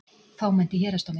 Fámennt í héraðsdómi